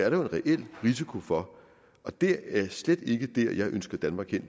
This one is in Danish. en reel risiko for og det er slet ikke dér jeg ønsker danmark hen